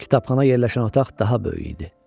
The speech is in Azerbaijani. Kitabxana yerləşən otaq daha böyük idi.